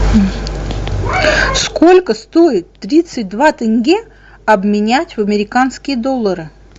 сколько стоит тридцать два тенге обменять в американские доллары